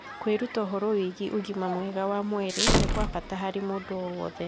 Kwĩruta ũhoro wĩgiĩ ũgima mwega wa mwĩrĩ nĩ kwa bata harĩ mũndũ o wothe